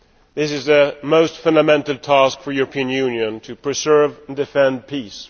This is the most fundamental task for the European Union to preserve and defend peace.